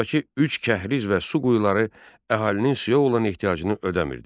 Buradakı üç kəhriz və su quyuları əhalinin suya olan ehtiyacını ödəmir.